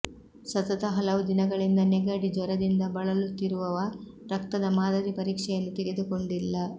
ಸತತ ಹಲವು ದಿನಗಳಿಂದ ನೆಗಡಿ ಜ್ವರದಿಂದ ಬಳಲುತ್ತಿರುವವ ರಕ್ತದ ಮಾದರಿ ಪರೀಕ್ಷೆಯನ್ನು ತೆಗೆದುಕೊಂಡಿಲ್ಲ